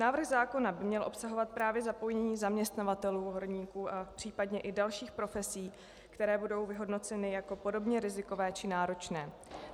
Návrh zákona by měl obsahovat právě zapojení zaměstnavatelů horníků a případně i dalších profesí, které budou vyhodnoceny jako podobně rizikové či náročné.